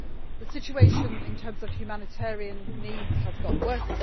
The situation in terms of humanitarian needs has got worse.